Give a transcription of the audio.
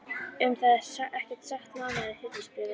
Um það er ekkert sagt nánar í Hirðisbréfinu.